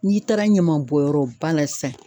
N'i taara ɲamanbɔnyɔrɔ ba la sisan